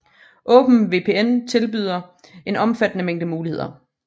OpenVPN tilbyder en omfattende mængde muligheder